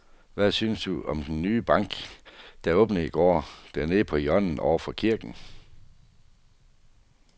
Hvad synes du om den nye bank, der åbnede i går dernede på hjørnet over for kirken?